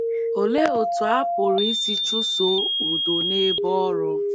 Olee otú a pụrụ isi chụsoo udo n’ebe ọrụ?